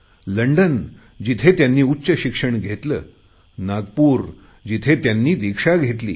लंडनजिथे त्यांनी उच्चशिक्षण घेतले नागपूर जिथे त्यांनी दीक्षा घेतली